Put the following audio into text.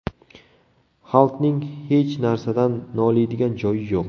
Halkning hech narsadan noliydigan joyi yo‘q.